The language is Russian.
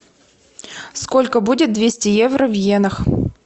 сколько будет двести евро в иенах